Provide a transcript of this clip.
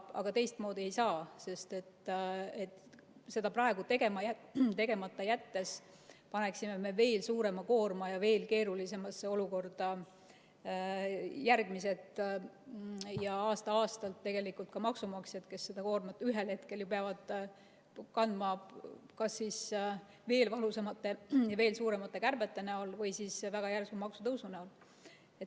Aga teistmoodi ei saa, sest seda praegu tegemata jättes paneksime me veel suurema koorma järgmistele ja paneksime veel keerulisemasse olukorda aasta-aastalt tegelikult ka maksumaksjad, kes seda koormat ühel hetkel peavad hakkama kandma kas veel valusamate ja veel suuremate kärbete näol või siis väga järsu maksutõusu näol.